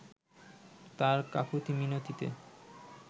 তার কাকুতি মিনতিতে